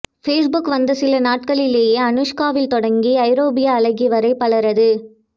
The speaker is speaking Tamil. பேஸ்புக் வந்த சில நாட்களிலேயே அனுஷ்காவில் தொடங்கி ஐரோப்பிய அழகிவரை பலரது